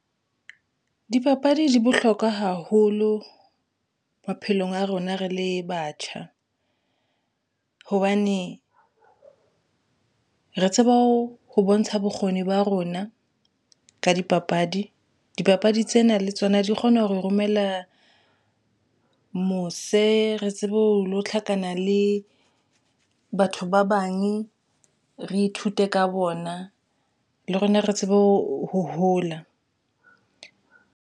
Dipapadi di bohlokwa haholo maphelong a rona re le batjha hobane re tseba ho bontsha bokgoni ba rona ka dipapadi. Dipapadi tsena le tsona di kgona ho romella mose, re tsebe ho lo tlhakana le batho ba , re ithute ka bona le rona re tsebe ho hola.